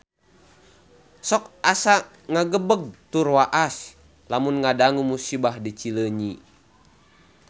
Sok asa ngagebeg tur waas lamun ngadangu musibah di Cileunyi